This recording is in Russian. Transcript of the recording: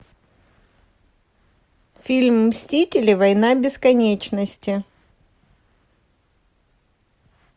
фильм мстители война бесконечности